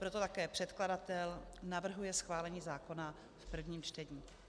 Proto také předkladatel navrhuje schválení zákona v prvním čtení.